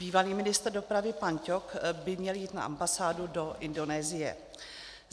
Bývalý ministr dopravy pan Ťok by měl jít na ambasádu do Indonésie.